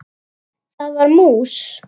Það var mús!